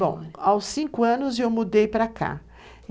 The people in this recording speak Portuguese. Bom, aos cinco anos eu mudei para cá.